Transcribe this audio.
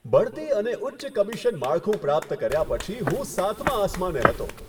બઢતી અને ઉચ્ચ કમિશન માળખું પ્રાપ્ત કર્યા પછી, હું સાતમા આસમાને હતો.